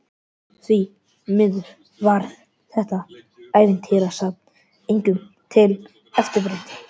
Því miður varð þetta ævintýrasafn engum til eftirbreytni.